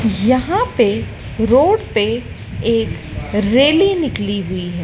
यहां पे रोड पे एक रैली निकली हुई है।